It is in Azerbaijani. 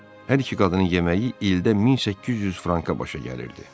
Hər iki qadının yeməyi ildə 1800 franka başa gəlirdi.